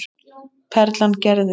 Perlan gerði.